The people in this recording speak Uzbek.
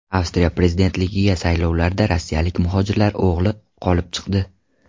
Avstriya prezidentligiga saylovlarda rossiyalik muhojirlar o‘g‘li g‘olib chiqdi.